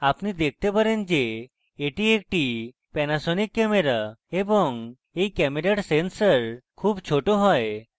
আপনি দেখতে পারেন যে এটি একটি panasonic camera এবং you camera sensor খুব ছোট has